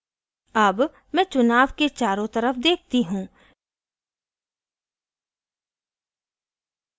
अब मैं चुनाव के चारो तरफ देखती हूँ